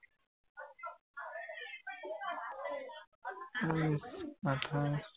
উম আঠাইশ